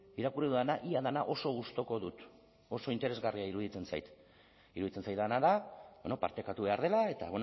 irakurri dudana ia dena oso gustuko dut oso interesgarria iruditzen zait iruditzen zaidana da partekatu behar dela eta